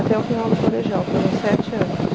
Até o final do colegial, foram sete anos.